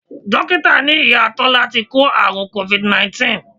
Dókítà ní Ìyá Tọ́lá ti kó àrùn Covid 19